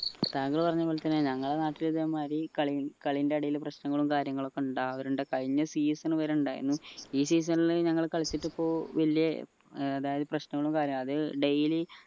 താങ്കൾ പറഞ്ഞ പോലെ തന്നെ ഞങ്ങളുടെ നാട്ടിലും ഇതേമാരി കളി കളിന്റെ ഇടയിൽ പ്രശ്നങ്ങളും കാര്യങ്ങളുമൊക്കെ ഇണ്ടാവലിണ്ട് കഴിഞ്ഞ season വരെ ഉണ്ടായിരുന്നു ഈ seasonl ൽ ഞങ്ങൾ കളിച്ചിട്ട് ഇപ്പൊ വലിയ ഏർ അതായത് പ്രശ്നങ്ങളും കാര്യ അത് daily